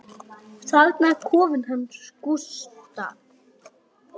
Þarna er kofinn hans Gústa.